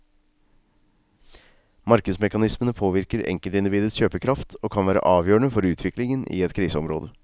Markedsmekanismene påvirker enkeltindividets kjøpekraft, og kan være avgjørende for utviklingen i et kriseområde.